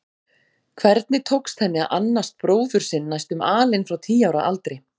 Hvernig tókst henni að annast bróður sinn næstum alein frá tíu ára aldri?